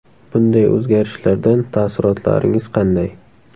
Bunday o‘zgarishlardan taassurotlaringiz qanday?